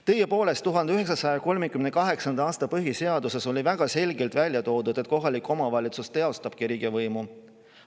Tõepoolest, 1938. aasta põhiseaduses oli väga selgelt välja toodud, et kohalik omavalitsus teostab riigivõimu.